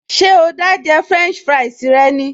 Ṣé o dá jẹ fúrẹ́ǹṣì fúráìsì rẹ ni?